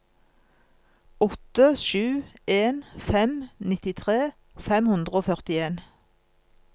åtte sju en fem nittitre fem hundre og førtien